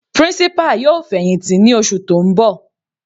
Principal yóò fẹ̀hìntì ní oṣù tó ń bọ̀.